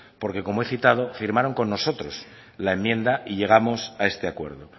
porque como he citado firmaron con nosotros la enmienda y llegamos a este acuerdo